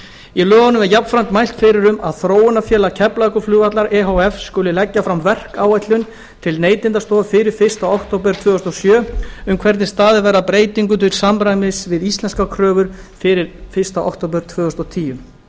í lögunum er jafnframt mælt fyrir um að þróunarfélag keflavíkurflugvallar e h f skuli leggja fram verkáætlun til neytendastofu fyrir fyrsta október tvö þúsund og sjö um hvernig staðið verði að breytingum til samræmis við íslenskar kröfur fyrir fyrsta október tvö þúsund og tíu